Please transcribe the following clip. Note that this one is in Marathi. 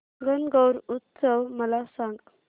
गणगौर उत्सव मला सांग